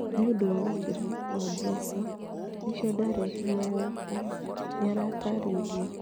Nĩ ũndũ wa wongerereku wa mbeca - nĩkĩo ndareheirwo gũkũ", nĩarataarĩirie.